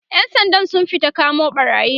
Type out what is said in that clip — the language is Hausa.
ƴan Sandan sun fita kamo ɓarayin